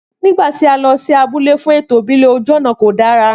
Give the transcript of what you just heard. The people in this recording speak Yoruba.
Nígbàtí a lọ sí abúlé fún ètò ìbílè ojú ònà kò dára